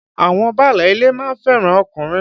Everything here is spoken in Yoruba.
Àwọn báálé ilé ma ń fẹ́ràn ọkùnrin.